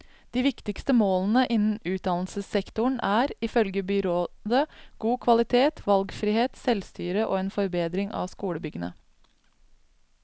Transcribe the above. De viktigste målene innen utdannelsessektoren er, ifølge byrådet, god kvalitet, valgfrihet, selvstyre og en forbedring av skolebyggene.